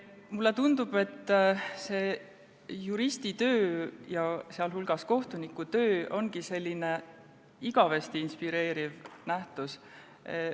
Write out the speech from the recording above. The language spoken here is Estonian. Mulle tundub, et juristitöö ja sealhulgas kohtunikutöö ongi igavesti inspireeriv nähtus.